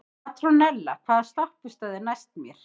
Petrónella, hvaða stoppistöð er næst mér?